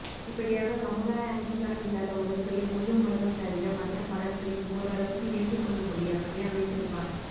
இப்படியாக சமுதாய அங்கீகாரம் இல்லாத உறவுகளை முள்ளும் மலரும் தவிர மற்ற படங்களில் ஓரளவுக்கு ஏற்றுக் கொள்ளும்படியாகவே அமைத்திருப்பார்